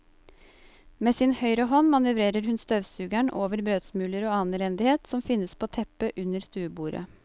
Med sin høyre hånd manøvrerer hun støvsugeren over brødsmuler og annen elendighet som finnes på teppet under stuebordet.